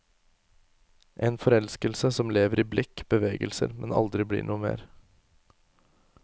En forelskelse som lever i blikk, bevegelser, men aldri blir noe mer.